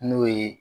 N'o ye